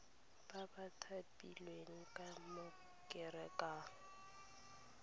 ba ba thapilweng ka konteraka